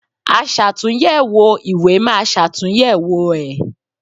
Aṣàtúnyẹ̀wò ìwé máa ṣàtúnyẹ̀wò ẹ̀.